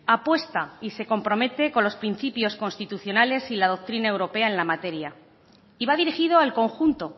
apuesta y se compromete con los principios constitucionales y la doctrina europea en la materia y va dirigido al conjunto